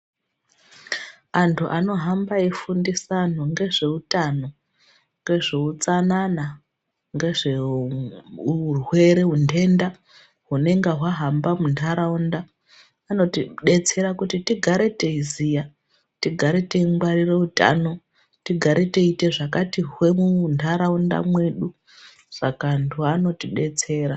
Anhu anohamba eifundisa anhu ngezveutano, ngezveutsanana, ngezveuuurwere untenda, hunenga hwahamba muntharaunda, vanotidetsera kuti tigare teiziya, tigare teingwarire utano, tigare teiite zvakati hwee muntharaunda mwedu, saka antu anotidetsera.